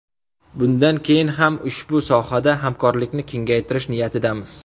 Bundan keyin ham ushbu sohada hamkorlikni kengaytirish niyatidamiz.